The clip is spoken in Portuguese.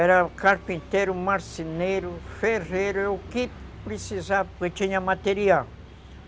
Era carpinteiro, marceneiro, ferreiro, o que precisava, porque tinha material.